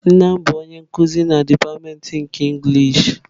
Nna m bụ onye nkuzi na dipatịmentị nke inglishị.